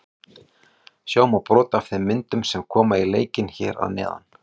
Sjá má brot af þeim myndum sem koma í leikinn hér að neðan.